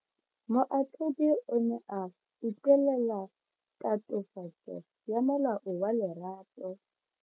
Moatlhodi o ne a utlwelela tatofatso ya molato wa Lerato.